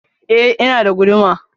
I, ina da guduma.